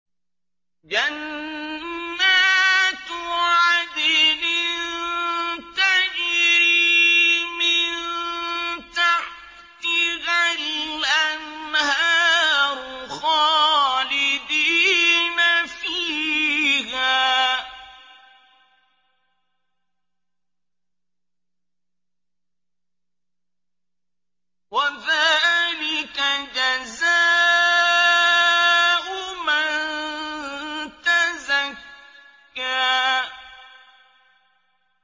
جَنَّاتُ عَدْنٍ تَجْرِي مِن تَحْتِهَا الْأَنْهَارُ خَالِدِينَ فِيهَا ۚ وَذَٰلِكَ جَزَاءُ مَن تَزَكَّىٰ